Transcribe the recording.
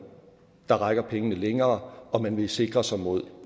der rækker pengene længere og man vil sikre sig mod